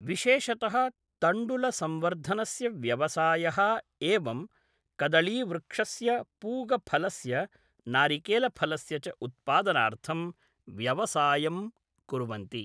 विशेषतः तण्डुलसंवर्धनस्य व्यवसायः एवं कदळीवृक्षस्य पूगफलस्य नारिकेलफलस्य च उत्पादनार्थं व्यवसायं कुर्वन्ति